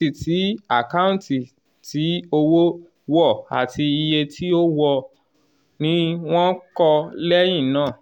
àkáǹtì tí àkáǹtì tí owó wọ̀ àti iye tí ó wọ̀ọ́ ni wọ́n kọ́ lẹ́yìn náà.